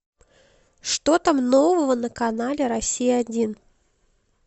что там нового на канале россия один